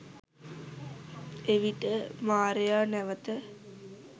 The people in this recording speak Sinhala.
එවිට මාරයා නැවත